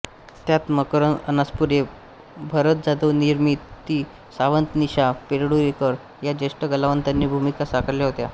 त्यात मकरंद अनासपुरे भरत जाधव निर्मिती सावंत निशा परूळेकर या ज्येष्ठ कलावंतांनी भूमिका साकारल्या होत्या